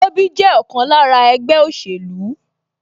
Tobi jẹ́ ọ̀kan lára ẹgbẹ́ òṣèlú